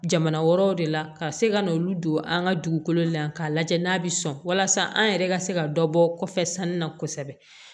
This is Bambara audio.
Jamana wɛrɛw de la ka se ka n'olu don an ka dugukolo la k'a lajɛ n'a bɛ sɔn walasa an yɛrɛ ka se ka dɔ bɔ kɔ kɔfɛ sanni na kosɛbɛ